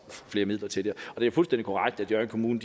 flere midler til og det er fuldstændig korrekt at hjørring kommune